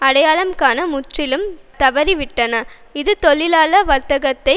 அடையாளம் காண முற்றிலும் தவறி விட்டன இது தொழிலாள வர்க்கத்தை